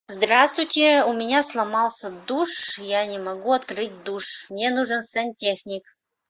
здравствуйте у меня сломался душ я не могу открыть душ мне нужен сантехник